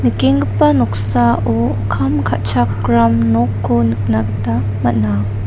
nikenggipa noksao kam ka·chakram nokko nikna gita man·a.